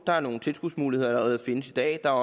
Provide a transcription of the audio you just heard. der er nogle tilskudsmuligheder der allerede findes i dag og